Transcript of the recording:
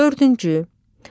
Dördüncü.